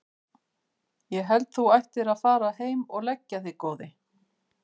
Ég held að þú ættir að fara heim og leggja þig góði!